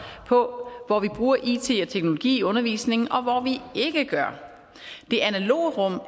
på hvor vi bruger it og teknologi i undervisningen og hvor vi ikke gør det analoge rum er